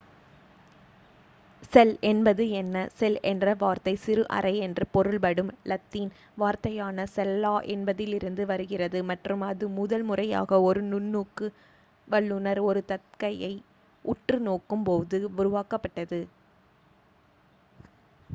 "செல் என்பது என்ன? செல் என்ற வார்த்தை "சிறு அறை" என்று பொருள் படும் லத்தீன் வார்த்தையான "செல்லா" என்பதிலிருந்து வருகிறது மற்றும் அது முதல் முறையாக ஒரு நுண்ணோக்கு வல்லுனர் ஒரு தக்கையை உற்று நோக்கும் போது உருவாக்கப் பட்டது.